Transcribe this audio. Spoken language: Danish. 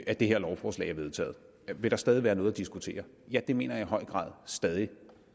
at det her lovforslag er vedtaget vil der stadig være noget at diskutere ja det mener jeg i høj grad stadig